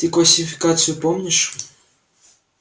ты классификацию помнишь